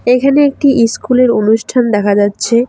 এইখানে একটি ইস্কুল এর অনুষ্ঠান দেখা যাচ্ছে।